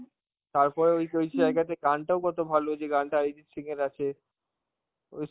তারপরে ওই যে ওই জায়গাতে গানটাও কত ভালো, যেই গানটা অরিজিৎ সিং এর আছে, ওই